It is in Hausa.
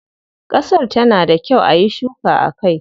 Kasar ta na da kyau ayi shuka a kai?